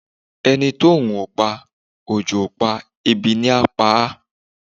Ẹni oòrùn ò pa, òjò ò pa, ebi ni á pa á